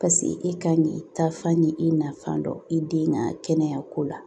paseke e kan k'i ta fan ni i nafan dɔn i den ŋa kɛnɛya ko la